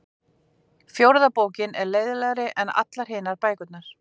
fjórða bókin er leiðinlegri en allar hinar bækurnar